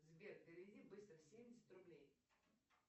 сбер переведи быстро семьдесят рублей